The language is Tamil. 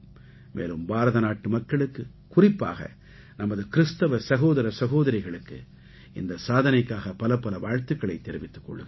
மேலும் பாரதநாட்டு மக்களுக்கு குறிப்பாக நமது கிறிஸ்தவ சகோதர சகோதரிகளுக்கு இந்த சாதனைக்காக பலப்பல வாழ்த்துக்களைத் தெரிவித்துக் கொள்கிறேன்